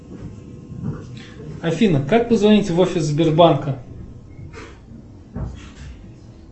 афина как позвонить в офис сбербанка